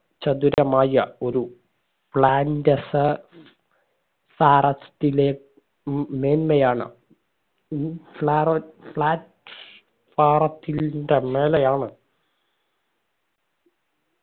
ചതുരമായ ഒരു പ്ലാന്റസ സാറത്തിലെ ഉം മേന്മയാണ് ഉം plat forum ത്തിന്റെ മേലെയാണ്